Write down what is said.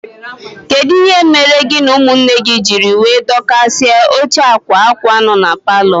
Kedụ ihe mere gị na ụmụnne gị jírí wee dokasia óche akwa akwa nọ n'paló?